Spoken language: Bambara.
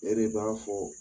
E de b'a fɔ